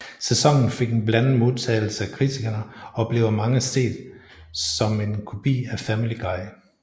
Sæsonen fik en blandet modtagelse af kritikerne og blev af mange set som en kopi af Family Guy